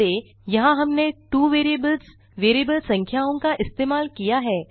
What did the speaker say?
ध्यान दें यहाँ हमने 2 वेरिएबल्स वेरिएबल संख्याओं का इस्तेमाल किया है